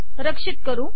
रक्षित करते